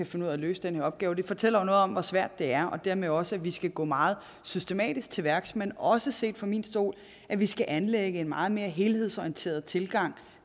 finde ud af at løse den her opgave det fortæller jo noget om hvor svært det er og dermed også at vi skal gå meget systematisk til værks men også set fra min stol at vi skal anlægge en meget mere helhedsorienteret tilgang